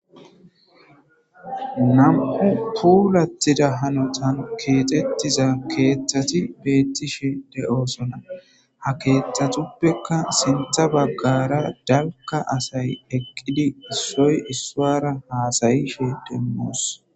Nam'u pulattida hanotan keexettiza keeththati beettishe de'oosona ha keeththatuppekka sintha baggara dalka asay eqqidi issoy issora haasayishe demmos.